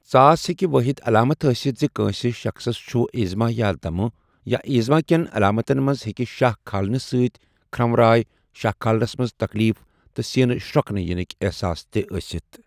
ژاس ہیٚکہِ وٲحد علامت ٲسِتھ زِ کٲنسہ شخصس چھُ ایذمہ یا دمہ ، یا ایذمہ کیٛن علامتن منٛز ہیٚکہِ شاہ کھالنہٕ سۭتۍ کھرٛنو راے ، شاہ کھالنس منٛز تکلیف تہٕ سینہ شرۄکنہ ینک احساس تہِ ٲسِتھ ۔